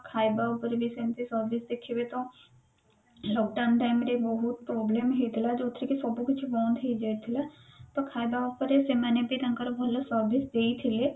ଖାଇବା ଉପରେ ବି ସେମତି service ଦେଖିବେ ତ lockdown time ରେ ବହୁତ problemହେଇଥିଲା ଯୋଉଥିରେ କି ସବକିଛି ବନ୍ଦ ହେଇ ଯାଇଥିଲା ତ ଖାଇବା ଉପରେ ସେମାନେ ବି ତାଙ୍କର ଭଲ service ଦେଇଥିଲେ